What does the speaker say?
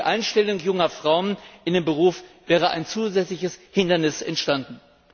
Für die Einstellung junger Frauen in den Beruf wäre ein zusätzliches Hindernis entstanden.